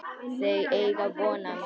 Þau eiga von á mér.